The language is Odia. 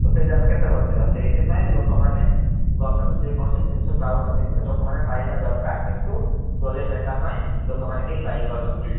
ତ ସେଇଟା ଆମେ କେତେ ବଂଚିବା ସେଇଥୀ ପାଇଁ ଲୋକ ମାନେ ଗମେଂଟ୍ ରୁ ଯେ କୌଣସି ଜିନିସ ପାଉଛନ୍ତି କିନ୍ତୁ ଲୋକ ମନେ ପାଇବା ଦରକାର କିନ୍ତୁ ଦଲିଅ ନେତା ପାଇଁ ଲୋକ ମାନେ କେହି କିଛି ପାଇ ପାରୁ ନାହାନ୍ତି।